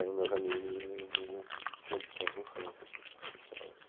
Eram meus amigos de de de inf hum da tenra infância, assim, esse pessoal.